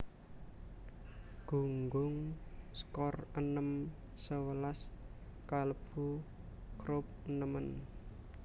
Gunggung skor enem sewelas kalebu Croup nemen